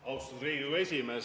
Austatud Riigikogu esimees!